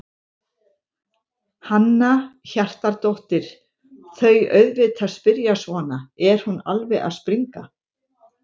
Hanna Hjartardóttir: Þau auðvitað spyrja svona, er hún alveg að springa?